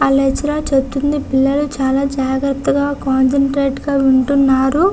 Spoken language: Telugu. ఆ లెక్చరర్ చెప్తున్నది పిల్లలు చాలా జాగ్రత్తగా కాన్సంట్రేట్ గా వింటున్నారు.